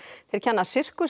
þeir kenna